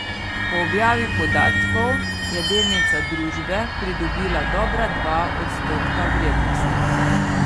Po objavi podatkov je delnica družbe pridobila dobra dva odstotka vrednosti.